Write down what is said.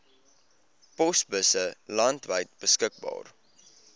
posbusse landwyd beskikbaar